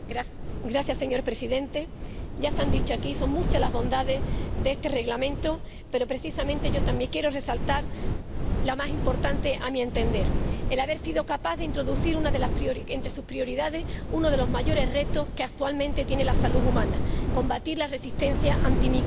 Señor presidente, ya se han dicho aquí, son muchas las bondades de este Reglamento, pero, precisamente, yo también quiero resaltar la más importante a mi entender el haber sido capaz de introducir entre sus prioridades uno de los mayores retos que actualmente tiene la salud humana, a saber, combatir la resistencia antimicrobiana.